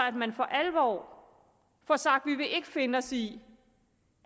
at man for alvor får sagt at vi ikke vil finde os i